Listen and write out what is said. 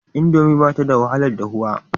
Indomi ba ta da wahalar dahuwa.